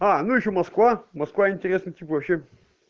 аа ну ещё москва москва интересно типа вообще